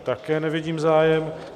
Také nevidím zájem.